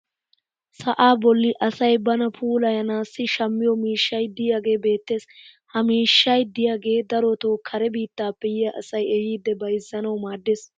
sa'aa bolli asay bana puullayanaassi shammiyo miishshay diyaagee beettees. ha miishshay diyaagee darotoo kare biittaappe yiya asay ehiidi bayzzanawu maadees.